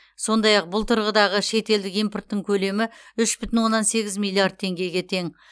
сондай ақ бұл тұрғыдағы шетелдік импорттың көлемі үш бүтін оннан сегіз миллиард теңгеге тең